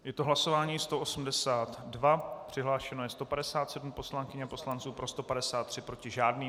Je to hlasování 182, přihlášeno je 157 poslankyň a poslanců, pro 153, proti žádný.